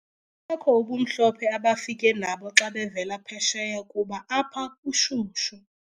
ekho ubumhlophe abafike nabo xa bevela phesheya kuba apha kushushu.